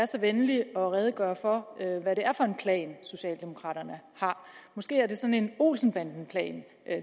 så venlig at redegøre for hvad det er for en plan socialdemokraterne har måske er det sådan en olsen banden plan